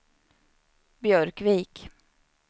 Björkvik